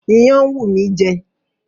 Iyán ń wù mí jẹ